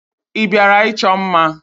Ị bịara ịchọ mma?